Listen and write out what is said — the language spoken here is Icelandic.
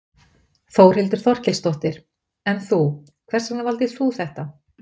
Þórhildur Þorkelsdóttir: En þú, hvers vegna valdir þú þetta?